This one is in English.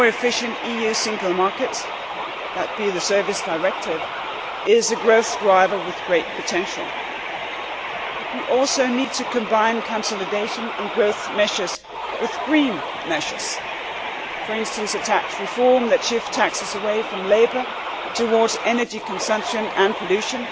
A more efficient EU single market, as per the Service Directive, is a growth driver with great potential. But we also need to combine consolidation and growth measures with green measures for instance, a tax reform that shifts taxes away from labour towards energy consumption and pollution,